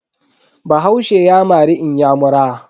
Bahaushe ya mari inyamura.